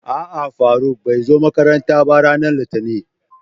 A'a Faruk bai zo makaranta ba, Ranar litinin.